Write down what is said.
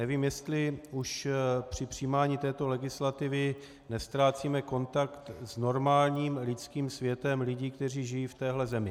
Nevím, jestli už při přijímání této legislativy neztrácíme kontakt s normálním lidským světem lidí, kteří žijí v téhle zemi.